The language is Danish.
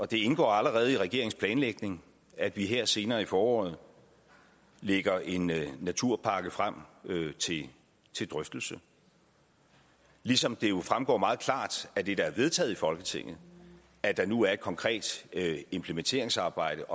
det indgår allerede i regeringens planlægning at vi her senere på foråret lægger en naturpakke frem til drøftelse ligesom det jo fremgår meget klart af det der er vedtaget i folketinget at der nu er et konkret implementeringsarbejde